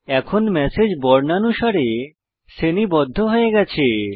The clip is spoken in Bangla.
এখন ম্যাসেজ বর্ণানুসারে শ্রেণীবদ্ধ হয়ে গেছে